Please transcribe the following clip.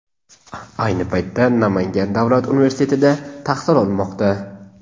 Ayni paytda Namangan davlat universitetida tahsil olmoqda.